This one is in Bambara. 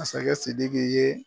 Masakɛ Sidiki ye.